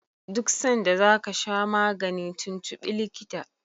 duk sanda za ka sha magani tuntubi likitan